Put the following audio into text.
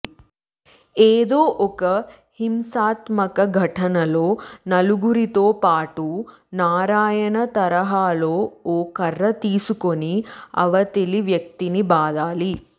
ఏదో ఒక హింసాత్మక ఘటనలో నలుగురితో పాటు నారాయణ తరహాలో ఓ కర్ర తీసుకుని అవతలి వ్యక్తిని బాదాలి